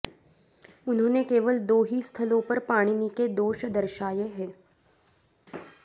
उन्होंने केवल दो ही स्थलों पर पाणिनि के दोष दर्शाये हैं